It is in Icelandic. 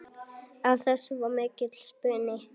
Af þessu varð mikill spuni.